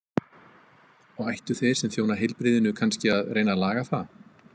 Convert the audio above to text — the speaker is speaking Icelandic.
Og ættu þeir sem þjóna heilbrigðinu kannski að reyna að laga það?